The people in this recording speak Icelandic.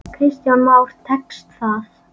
Kristján Már: Tekst það?